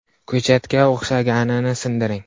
Ko‘chatga o‘xshaganini sindiring.